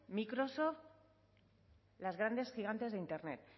microsoft las grandes gigantes de internet